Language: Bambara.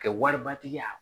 Kɛ wari batigi ya